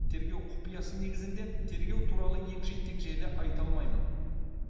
тергеу құпиясы негізінде тергеу туралы егжей тегжейлі айта алмаймын